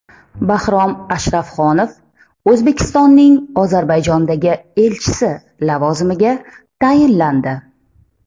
Bahrom Ashrafxonov O‘zbekistonning Ozarbayjondagi elchisi lavozimiga tayinlandi.